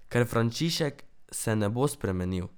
Ker Frančišek se ne bo spremenil.